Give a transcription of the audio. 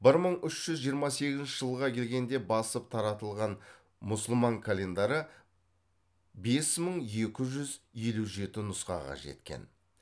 бір мың үш жүз жиырма сегізінші жылға келгенде басып таратылған мұсылман календары бес мың екі жүз елу жеті нұсқаға жеткен